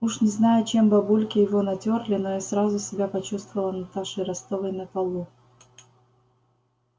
уж не знаю чем бабульки его натёрли но я сразу себя почувствовала наташей ростовой на балу